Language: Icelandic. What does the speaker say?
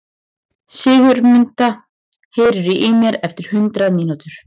Sigurmunda, heyrðu í mér eftir hundrað mínútur.